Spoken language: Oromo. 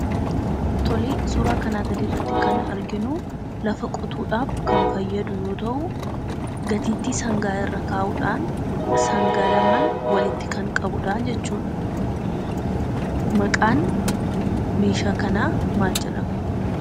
Tolee, suuraa kanaa gadiirratti kan arginuu lafa qotuudhaaf kan fayyadu yoo ta'u gatiittii sangaa irra kaa'uudhaan sangaa lamaan walitti kan qabudhaa jechuudha. Maqaan meeshaa kanaa maal jedhama?